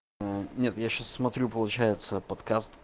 ээ нет я сейчас смотрю получается подкаст